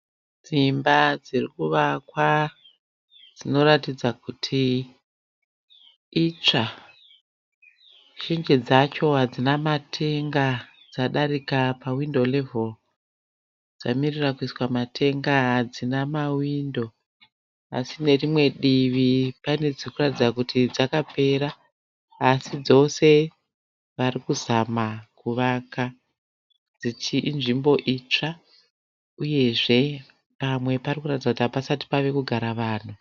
Dzimba dziri kuvakwa dzinoratidza kuti itsva. Zhinji dzacho hadzina matenga dzadarika pahwindo reveri dzamirira kuiswa matenga. Hadzina mahwindo asi nerimwe divi pane dziri kuratidza kuti dzakapera asi dzose vari kuzama kuvaka. Ichiri nzvimbo itsva uyezve pamwe pari kuratidza kuti hapasati pave kugara vanhu.